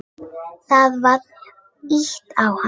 Það var ýtt á hann.